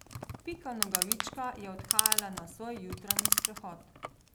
Pika Nogavička je odhajala na svoj jutranji sprehod.